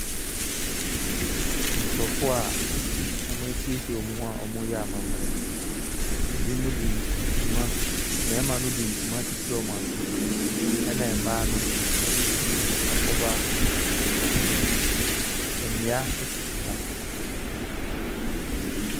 Nkorɔfoɔ a wasiesie wɔn ho reyɛ amammerɛ mmarima de ntama akyekyere wɔasen na mmaa no de biribi akata wɔn ho.